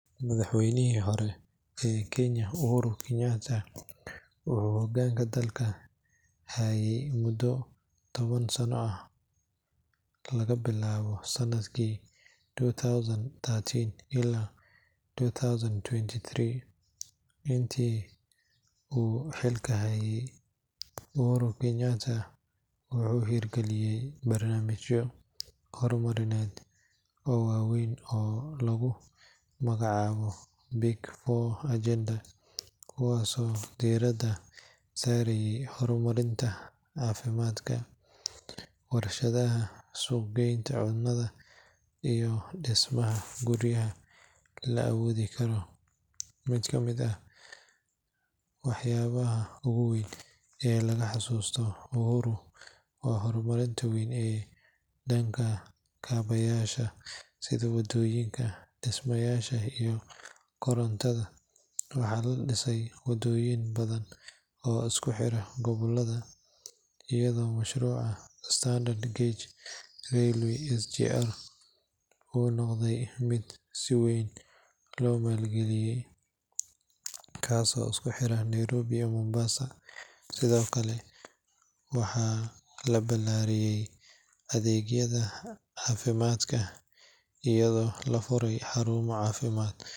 Madaxweynihii hore ee Kenya Uhuru Kenyatta wuxuu hoggaanka dalka hayey muddo toban sano ah laga bilaabo sanadkii two thousand thirteen ilaa two thousand twenty three. Intii uu xilka hayey, Uhuru Kenyatta wuxuu hirgeliyey barnaamijyo horumarineed oo waaweyn oo lagu magacaabo Big Four Agenda, kuwaasoo diiradda saarayey horumarinta caafimaadka, warshadaha, sugnaanta cunnada, iyo dhismaha guryaha la awoodi karo. Mid ka mid ah waxyaabaha ugu weyn ee laga xusuusto Uhuru waa horumarka weyn ee dhanka kaabeyaasha sida waddooyinka, dhismayaasha, iyo korontada. Waxaa la dhisay waddooyin badan oo isku xira gobollada, iyadoo mashruuca Standard Gauge Railway (SGR) uu noqday mid si weyn loo maalgaliyey, kaasoo isku xira Nairobi iyo Mombasa. Sidoo kale, waxaa la balaariyey adeegyada caafimaadka iyadoo la furay xarumo caafimaad .